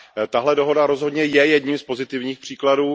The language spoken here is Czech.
Tato dohoda rozhodně je jedním z pozitivních příkladů.